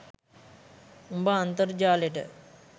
උඹ අන්තර්ජාලෙට